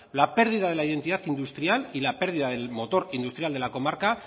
la pérdida de la identidad industrial y la pérdida del motor industrial de la comarca